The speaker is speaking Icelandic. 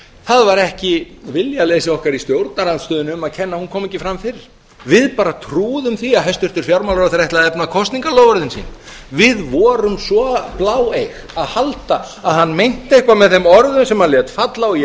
það var ekki viljaleysi okkar í stjórnarandstöðunni um að kenna að hún kom ekki fram fyrr við bara trúðum því að hæstvirtur fjármálaráðherra ætlaði efna kosningaloforðin sín við vorum svo bláeyg að halda að hann meinti eitthvað með þeim orðum sem hann lét falla og ég